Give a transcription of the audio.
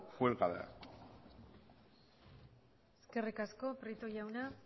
cuélguela eskerrik asko prieto jauna